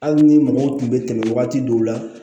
Hali ni mɔgɔw tun bɛ tɛmɛ wagati dɔw la